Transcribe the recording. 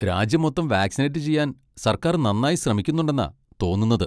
രാജ്യം മൊത്തം വാക്സിനേറ്റ് ചെയ്യാൻ സർക്കാർ നന്നായി ശ്രമിക്കുന്നെണ്ടെന്നാ തോന്നുന്നത്.